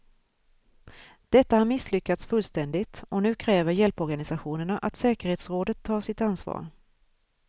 Detta har misslyckats fullständigt, och nu kräver hjälporganisationerna att säkerhetsrådet tar sitt ansvar.